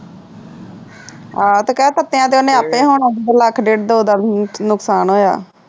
ਆਹ ਤੇ ਕੇਹ ਆਪੇ ਹੋਣਾ ਲੱਖ ਡੇਡ ਦੋ ਦਾ ਨੁਕਸਾਨ ਹੋਇਆ